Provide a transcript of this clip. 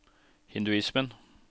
hinduismen